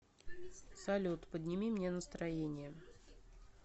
салют подними мне настроение